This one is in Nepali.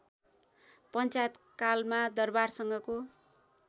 पञ्चालयतकालमा दरबारसँगको